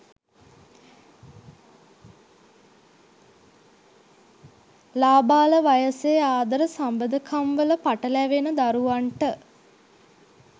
ලාබාල වයසේ ආදර සබඳකම්වල පටලැවෙන දරුවන්ට